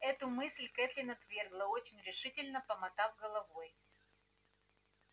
эту мысль кэтлин отвергла очень решительно помотав головой